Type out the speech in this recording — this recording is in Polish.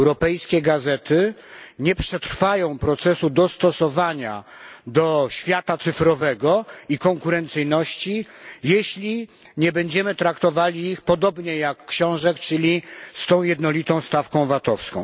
Europejskie gazety nie przetrwają procesu dostosowania do świata cyfrowego i konkurencyjności, jeśli nie będziemy traktowali ich podobnie jak książek, czyli z tą jednolitą stawką vatowską.